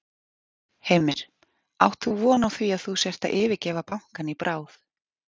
Heimir: Átt þú von á því að þú sért að yfirgefa bankann í bráð?